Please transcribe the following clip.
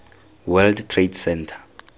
world trade center